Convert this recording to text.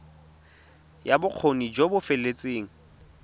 ya bokgoni jo bo feteletseng